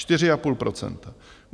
Čtyři a půl procenta.